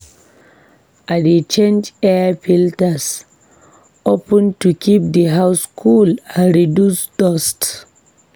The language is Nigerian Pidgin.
I dey change air filters of ten to keep the house cool and reduce dust.